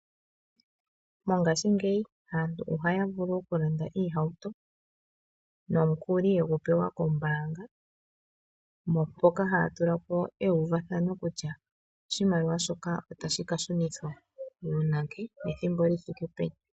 Mongashingeyi aantu ohaya vulu okulanda iihauto nomukuli yegu pewa kombaanga mpaka haya tulapo eyuvathano kutya oshimaliwa shoka otadhi kashunithwa uunake nethimbo lithike peni .